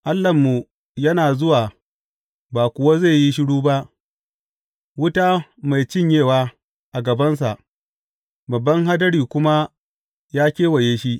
Allahnmu yana zuwa ba kuwa zai yi shiru ba; wuta mai cinyewa a gabansa, babban hadari kuma ya kewaye shi.